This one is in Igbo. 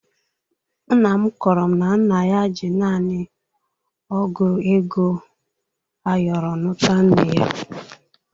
Nna m kọọrọ m na nna ya ji naanị ọ́gụ̀ ego ayọrọ nụta nne ya.